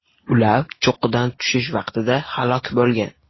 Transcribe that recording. Ular cho‘qqidan tushish vaqtida halok bo‘lgan.